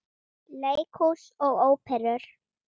Leikhús og Óperur